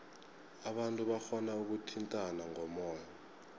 abantu barhona ukuthintana ngomoya